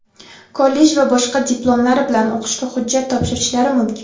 kollej va boshqa diplomlari bilan o‘qishga hujjat topshirishlari mumkin.